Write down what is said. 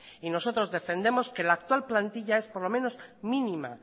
y nosotros defendemos que la actual plantilla es por lo menos mínima